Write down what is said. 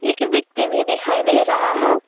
एक व्यक्ति भी दिखाई दे रहा है।